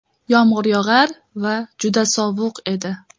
Yomg‘ir yog‘ar va juda sovuq edi.